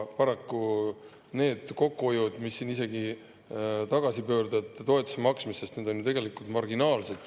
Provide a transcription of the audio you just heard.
Paraku kogu kokkuhoid, sealhulgas tagasipöördujate toetuse maksmisest loobumisega, on ju tegelikult marginaalne.